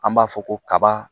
An b'a fɔ ko kaba